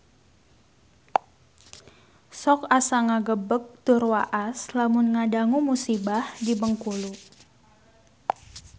Sok asa ngagebeg tur waas lamun ngadangu musibah di Bengkulu